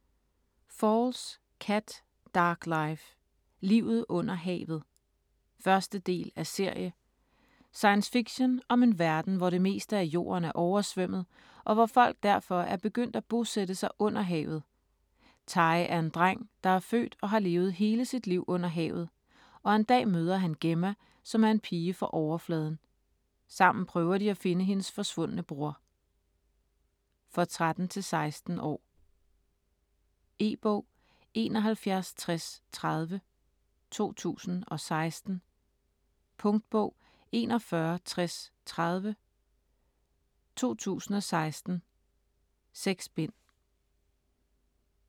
Falls, Kat: Dark life: Livet under havet. 1. del af serie. Science fiction om en verden hvor det meste af jorden er oversvømmet, og hvor folk derfor er begyndt at bosætte sig under havet. Ty er en dreng der er født og har levet hele sit liv under havet, og en dag møder han Gemma, som er en pige fra Overfladen. Sammen prøver de at finde hendes forsvundne bror. For 13-16 år. E-bog 716030 2016. Punktbog 416030 2016. 6 bind.